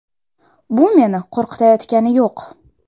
Bu meni qo‘rqitayotgani yo‘q.